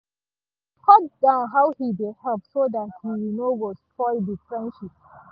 he cut down how he dey help so that he no go spoil the friendship